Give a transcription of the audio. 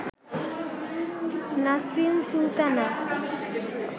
Nasrin Sultana